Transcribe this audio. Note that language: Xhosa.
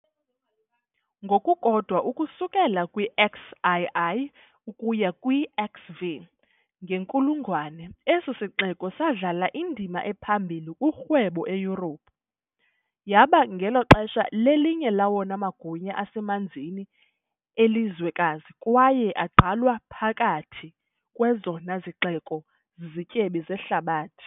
Ngokukodwa, ukusuka kwi-XII ukuya kwi-XV ngenkulungwane, esi sixeko sadlala indima ephambili kurhwebo eYurophu, yaba, ngelo xesha, lelinye lawona magunya asemanzini elizwekazi kwaye agqalwa phakathi kwezona zixeko zizityebi zehlabathi.